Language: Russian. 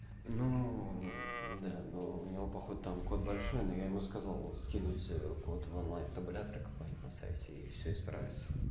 ну да ну у него походу там код большой но я ему сказал скинуть код в онлайн табулятор какой-нибудь на сайте и всё исправится